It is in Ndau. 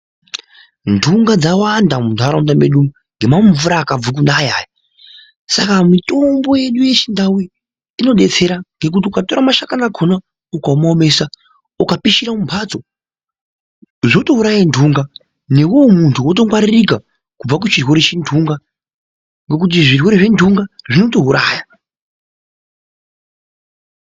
Ntunga dzawanda muntaraunda mwedu umwu ngemakumvura akabva kunaya aya. Saka mitombo yedu yechindau inodetsera ngokuti ukatora mashakani akona ukamaomesa ukapishira mumphatso zvotouraya ntunga newewe muntu wotongwaririka kubva kuchirwere chentunga ngokuti zvirwere zventunga zvinotouraya.